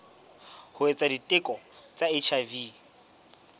ho etsa diteko tsa hiv